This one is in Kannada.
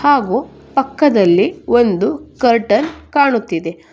ಹಾಗು ಪಕ್ಕದಲ್ಲಿ ಒಂದು ಕರ್ಟನ್ ಕಾಣುತ್ತಿದೆ.